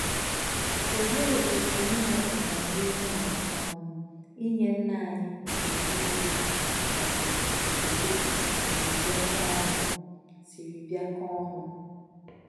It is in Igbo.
Olee otú inwe ọganihu na um inye Nna anyị nke eluigwe um otuto siri bịakọọ ọnụ? siri bịakọọ ọnụ?